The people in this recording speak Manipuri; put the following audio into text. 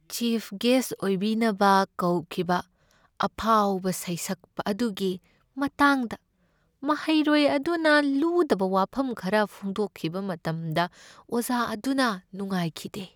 ꯆꯤꯐ ꯒꯦꯁ꯭ꯠ ꯑꯣꯏꯕꯤꯅꯕ ꯀꯧꯈꯤꯕ ꯑꯐꯥꯎꯕ ꯁꯩꯁꯛꯄ ꯑꯗꯨꯒꯤ ꯃꯇꯥꯡꯗ ꯃꯍꯩꯔꯣꯏ ꯑꯗꯨꯅ ꯂꯨꯗꯕ ꯋꯥꯐꯝ ꯈꯔ ꯐꯣꯡꯗꯣꯛꯈꯤꯕ ꯃꯇꯝꯗ ꯑꯣꯖꯥ ꯑꯗꯨꯅ ꯅꯨꯡꯉꯥꯏꯈꯤꯗꯦ ꯫